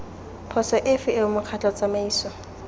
phoso efe eo mokgatlho tsamaiso